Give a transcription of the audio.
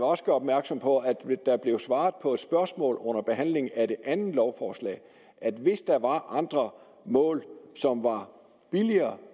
også gøre opmærksom på at der blev svaret på et spørgsmål under behandlingen af det andet lovforslag at hvis der var andre mål som var billigere